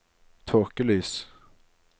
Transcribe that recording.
tåkelys